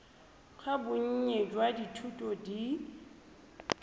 ga bonnye jwa dithuto di